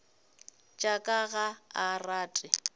tša ka ga a rate